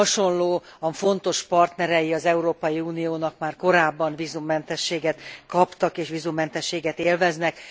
Hasonlóan fontos partnerei az Európai Uniónak már korábban vízummentességet kaptak és vízummentességet élveznek.